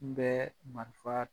N bɛɛ marifa